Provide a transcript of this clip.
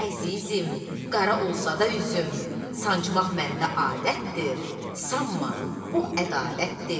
Əzizim, qara olsa da üzüm, sancmaq məndə adətdir, sanma, bu ədavətdir.